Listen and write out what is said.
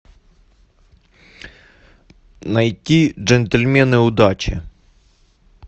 найти джентльмены удачи